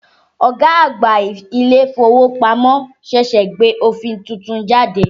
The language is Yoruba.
Ọ̀gá àgbà ilé-ìfowópamọ́ ṣẹ̀ṣẹ̀ gbé òfin tuntun jáde